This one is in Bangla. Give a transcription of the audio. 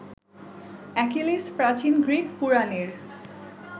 অ্যাকিলিস, প্রাচীন গ্রীক পুরাণের